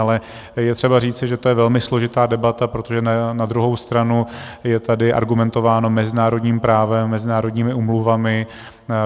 Ale je třeba říci, že to je velmi složitá debata, protože na druhou stranu je tady argumentováno mezinárodním právem, mezinárodními úmluvami.